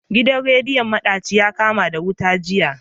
Gidan rediyon madaci yakama da wuta jiya.